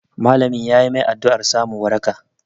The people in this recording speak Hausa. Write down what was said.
Malamin yayi mai addu'ar samun waraka